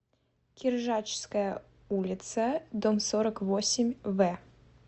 киржачская улица дом сорок восемь в